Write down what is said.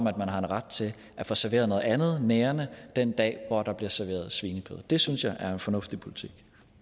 at man har en ret til at få serveret noget andet nærende den dag hvor der bliver serveret svinekød det synes jeg er en fornuftig politik